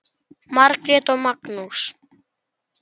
Margrét og Magnús.